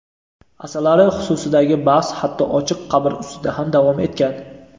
Asarlari xususidagi bahs hatto ochiq qabr ustida ham davom etgan.